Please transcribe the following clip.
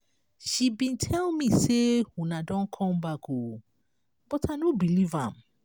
she bin tell me say una don come back oo but i no believe am.